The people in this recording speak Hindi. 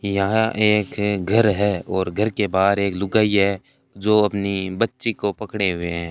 यहां एक घर है और घर के बाहर एक लुगाई है जो अपनी बच्ची को पकड़े हुए हैं।